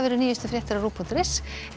nýjustu fréttir á rúv punktur is en við